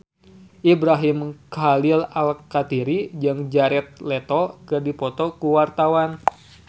Ibrahim Khalil Alkatiri jeung Jared Leto keur dipoto ku wartawan